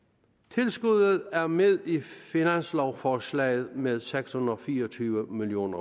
tilskuddet er med i finanslovforslaget med seks hundrede og fire og tyve million